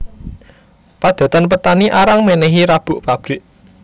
Padatan petani arang menehi rabuk pabrik